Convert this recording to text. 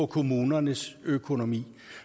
kommunernes økonomi